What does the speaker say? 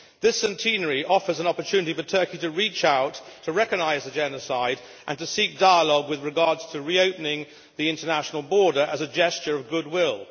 This centenary offers an opportunity for Turkey to reach out, to recognise the genocide and to seek dialogue with regard to reopening the international border as a gesture of goodwill.